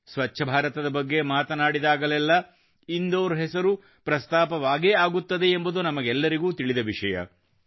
ಸ್ವಚ್ಛ ಭಾರತದ ಬಗ್ಗೆ ಮಾತಾಡಿದಾಗಲೆಲ್ಲ ಇಂದೋರ್ ಹೆಸರು ಪ್ರಸ್ತಾಪವಾಗೇ ಆಗುತ್ತದೆ ಎಂಬುದು ನಮಗೆಲ್ಲರಿಗೂ ತಿಳದ ವಿಷಯ